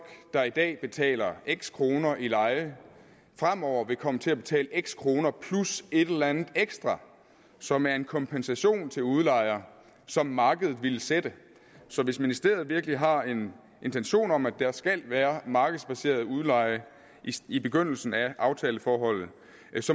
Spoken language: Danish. der i dag betaler x kroner i leje fremover vil komme til at betale x kroner plus et eller andet ekstra som er en kompensation til udlejer som markedet ville sætte så hvis ministeriet virkelig har en intention om at der skal være markedsbaseret udleje i begyndelsen af aftaleforholdet